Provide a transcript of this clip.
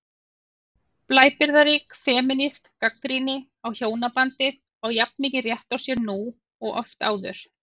Blæbrigðarík femínísk gagnrýni á hjónabandið á jafn mikinn rétt á sér nú og oft áður.